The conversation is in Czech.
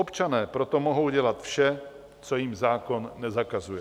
Občané proto mohou dělat vše, co jim zákon nezakazuje.